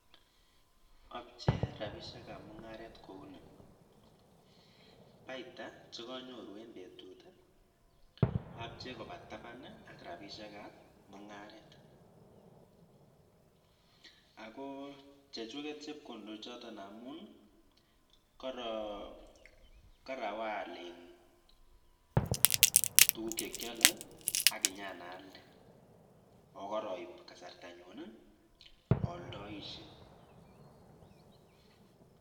i chitap mungaret tos ipcheiti ano chepkondok ap mungaret ako chekuk amune?